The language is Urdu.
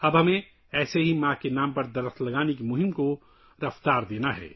اب ہمیں ماں کے نام پر درخت لگانے کی مہم کو تیز کرنا ہوگا